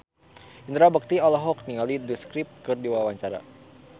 Indra Bekti olohok ningali The Script keur diwawancara